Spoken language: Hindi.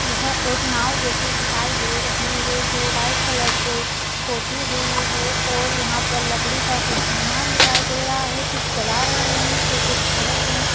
यह एक नाव जैसी दिखाई दे रही है जो व्हाइट कलर से पोथी हुई है और यहा पर लकड़ी का कुछ सामान दिखाई दे रहा है कुछ चला रहे है तो कुछ खड़े है।